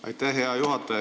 Aitäh, hea juhataja!